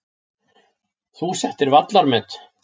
Þú settir vallarmet.